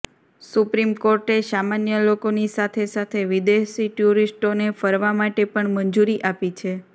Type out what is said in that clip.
supreme કોર્ટે સામાન્ય લોકોની સાથે સાથે વિદેશી ટુરિસ્ટોને ફરવા માટે પણ મંજૂરી આપી છે